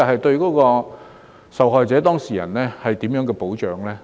對於受害者/當事人而言，保障何在？